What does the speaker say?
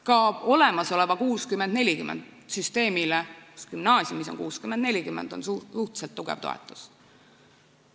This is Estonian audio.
Ka olemasolevale 60 : 40 süsteemile on suhteliselt tugev toetus.